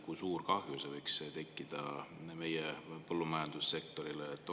Kui suur kahju võiks tekkida meie põllumajandussektorile?